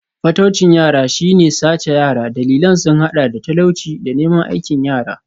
Fataucin yara shi ne sace yara, dalilan sun hada da talauci da neman aikin yara.